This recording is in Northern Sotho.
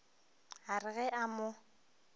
a re ge a mo